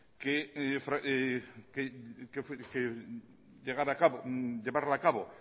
de llevarla a cabo